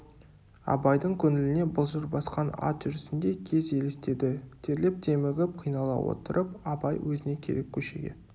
абайдың көңіліне былжыр басқан ат жүрісіндей кез елестеді терлеп демігіп қинала отырып абай өзіне керек көшеге